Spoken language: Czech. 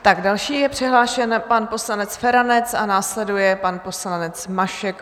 Jako další je přihlášen pan poslanec Feranec a následuje pan poslanec Mašek.